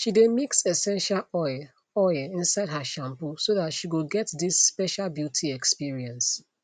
she dae mix essential oil oil inside her shampoo so that she go get this special beauty experience